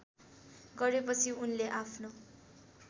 गरेपछि उनले आफ्नो